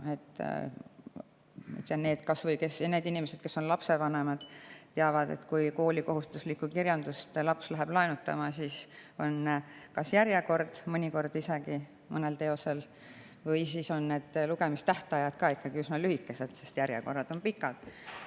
Kas või lapsevanemad teavad, et kui laps läheb kooli kohustuslikku kirjandust laenutama, siis on mõnel teosel mõnikord järjekord ja lugemistähtajad on ikkagi üsna lühikesed, sest järjekorrad on pikad.